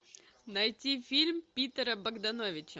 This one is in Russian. найти фильм питера богдановича